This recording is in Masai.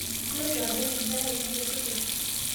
Iloito adol nkerai ino tesukul